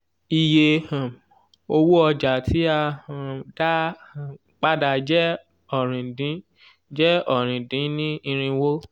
iye um owó ọjà tí a um dá um padà jẹ́ ọ̀rin dín jẹ́ ọ̀rin dín ní irínwó.